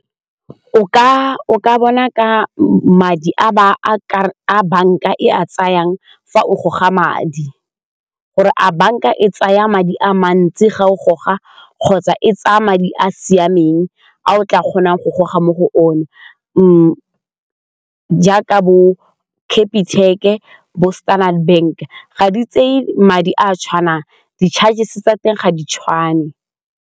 O ka bona ka madi a bankaa tsayang fa o goga madi gore a banka e tsaya madi a mantsi ga o goga kgotsa e tsaya madi a siameng a o tla kgonang go goga mo go one jaaka bo Capitec-e, bo Standard Bank ga di tseye madi a a tshwanang di-charges-e tsa teng ga di tshwane.